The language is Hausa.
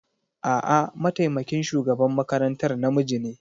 A'a, mataimakin shugaban makarantar namiji ne.